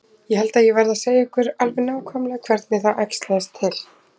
Ég held ég verði að segja ykkur alveg nákvæmlega hvernig það æxlaðist til.